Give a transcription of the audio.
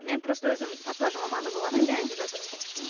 мен просто өзім татуаж маманы болғаннан кейін айтып жатырмын